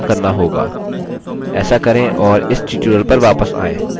ऐसा करें और इस tutorial पर वापस आएँ